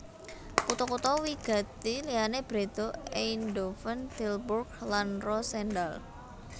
Kutha kutha wigati liyané Breda Eindhoven Tilburg lan Roosendaal